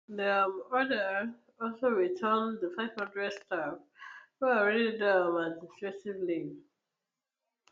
di um order also return di five hundred staff wey already dey on um administrative leave